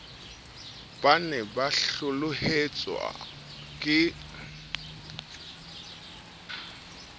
ba ne ba hlohlelletswa ke